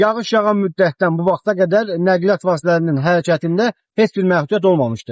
Yağış yağan müddətdən bu vaxta qədər nəqliyyat vasitələrinin hərəkətində heç bir məhdudiyyət olmamışdır.